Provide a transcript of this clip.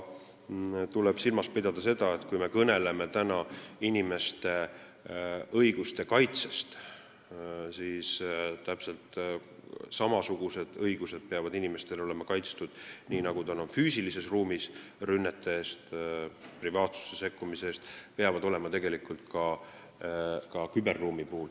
Tuleb silmas pidada, et kui me kõneleme inimeste õiguste kaitsest, siis täpselt samasugused õigused, mis kaitsevad inimesi rünnete eest, privaatsusesse sekkumise eest füüsilises ruumis, peavad inimestel olema ka küberruumis.